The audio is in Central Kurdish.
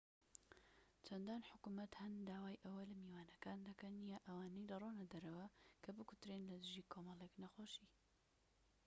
چەندان حکومەت هەن داوای ئەوە لە میوانەکان دەکەن یان ئەوانەی دەڕۆنە دەرەوە کە بکوترێن لە دژی کۆمەڵێك نەخۆشی